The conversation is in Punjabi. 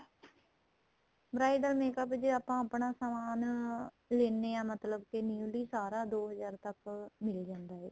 bridal makeup ਜੇ ਆਪਾਂ ਆਪਣਾ ਸਮਾਨ ਲੈਨੇ ਹਾਂ ਮਤਲਬ ਕੀ newly ਸਾਰਾ ਦੋ ਹਜ਼ਾਰ ਤੱਕ ਮਿਲ ਜਾਂਦਾ ਏ